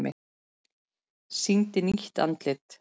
Sýndi nýtt andlit